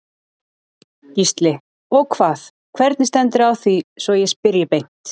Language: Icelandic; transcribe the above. Gísli: Og hvað, hvernig stendur á því svo ég spyrji beint?